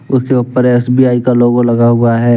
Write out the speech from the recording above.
उसके ऊपर एस_बी_आई का लोगो लगा हुआ है।